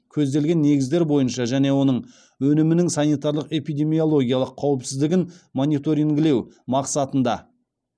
көзделген негіздер бойынша және оның өнімінің санитарлық эпидемиологиялық қауіпсіздігін мониторингілеу мақсатында